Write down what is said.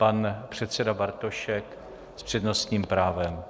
Pan předseda Bartošek s přednostním právem.